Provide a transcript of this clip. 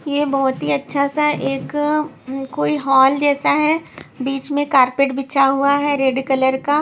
ये बहुत ही अच्छा सा एक कोई हॉल जैसा है बीच में कारपेट बिछा हुआ है रेड कलर का।